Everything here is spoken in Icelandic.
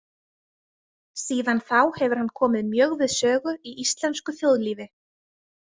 Síðan þá hefur hann komið mjög við sögu í íslensku þjóðlífi.